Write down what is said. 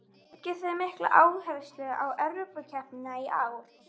Leggið þið mikla áherslu á Evrópukeppnina í ár?